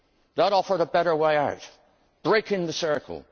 That offered a better way out, breaking the circle.